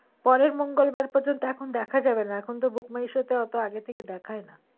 পরের মঙ্গলবার পর্যন্ত এখন দেখা যাবে না এখন তো book my show তে অতো আগে থেকে দেখায় না